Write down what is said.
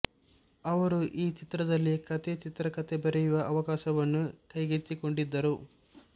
ಅವರು ಈ ಚಿತ್ರದಲ್ಲಿ ಕಥೆ ಚಿತ್ರಕಥೆ ಬರೆಯುವ ಅವಕಾಶವನ್ನೂ ಕೈಗೆತ್ತಿಕೊಂಡಿದ್ದರು